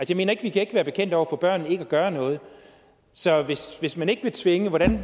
jeg mener vi kan ikke være bekendt over for børnene ikke at gøre noget så hvis hvis man ikke vil tvinge